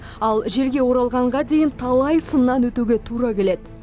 ал жерге оралғанға дейін талай сыннан өтуге тура келеді